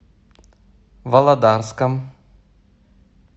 володарском